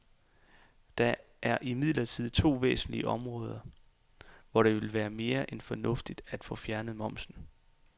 Der er imidlertid to væsentlige områder, hvor det ville være mere end fornuftigt at få fjernet momsen.